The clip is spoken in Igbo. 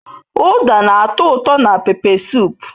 Uda na-ato uto na pepe sup.